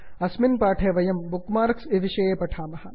अस्मिन् पाठे वयं बुक् मार्क्स् विषये पठामः